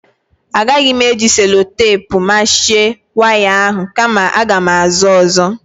Agaghị m eji selotepu machie waya ahụ kama aga m ázụ́ ọ́zọ́.